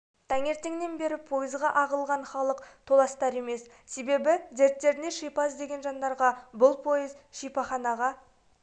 таңертеңнен бері пойызға ағылған халық толастар емес себебі дерттеріне шипа іздеген жандарға бұл пойыз шипаханаға